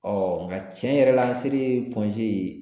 nga tiɲɛ yɛrɛ la an selen